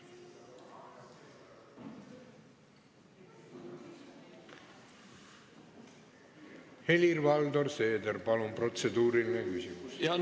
Helir-Valdor Seeder, palun, protseduuriline küsimus!